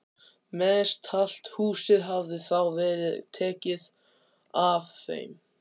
Mestallt húsið hafði þá verið tekið af þeim.